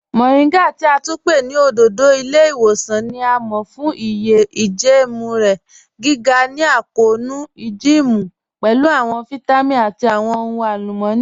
Moringa ti a tún pẹ̀ ni ọ̀dọ̀dọ̀ ilẹ̀-iwosan ni a mọ̀ fun iye ijẹẹmu rẹ, giga ni akọọnu ijẹẹmu, pẹ̀lú awọn vitamin ati awọn ọhun alumọni.